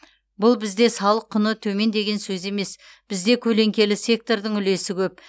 бұл бізде салық құны төмен деген сөз емес бізде көлеңкелі сектордың үлесі көп